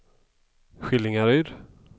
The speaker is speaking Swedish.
Skillingaryd